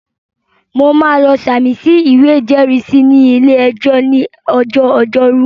Mo máa lọ sàmì sí ìwé ìjẹ́rìísí ní ilé-ẹjọ́ ní ọjọ́ ọjọ́rú